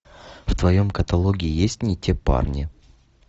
в твоем каталоге есть не те парни